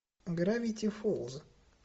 гравити фолз